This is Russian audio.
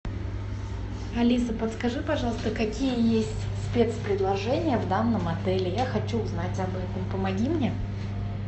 алиса подскажи пожалуйста какие есть спецпредложения в данном отеле я хочу узнать об этом помоги мне